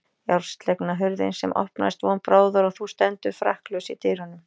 Járnslegna hurðina sem opnast von bráðar og þú stendur frakkalaus í dyrunum.